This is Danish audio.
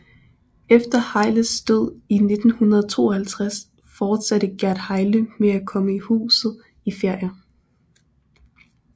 Efter Hejles død i 1952 fortsatte Gerd Hejle med at komme i huset i ferier